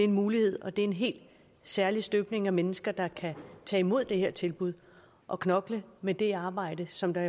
mulighed og det er en helt særlig støbning af mennesker der kan tage imod det her tilbud og knokle med det arbejde som der